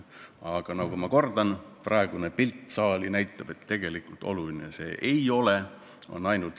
Aga ma kordan: praegune saali pilt näitab, et tegelikult see ei ole oluline.